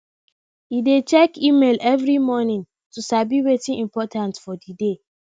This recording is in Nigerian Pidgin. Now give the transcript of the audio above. he dey check email every morning to sabi wetin important for the day